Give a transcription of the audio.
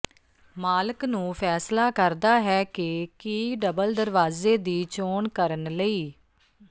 ਮਾਲਕ ਨੂੰ ਫ਼ੈਸਲਾ ਕਰਦਾ ਹੈ ਕਿ ਕੀ ਡਬਲ ਦਰਵਾਜ਼ੇ ਦੀ ਚੋਣ ਕਰਨ ਲਈ